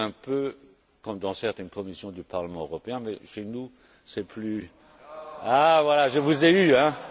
C'est un peu comme dans certaines commissions du Parlement européen, mais chez nous, c'est plus Ah, voilà, je vous ai eu, hein